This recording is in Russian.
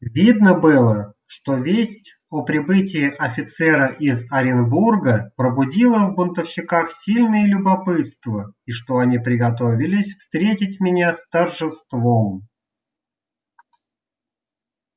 видно было что весть о прибытии офицера из оренбурга пробудила в бунтовщиках сильное любопытство и что они приготовились встретить меня с торжеством